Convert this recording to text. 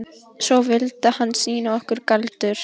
Svo vildi hann sýna okkur galdur.